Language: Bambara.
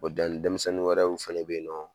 O denmisɛnnin wɛrɛw fɛnɛ be yen nɔn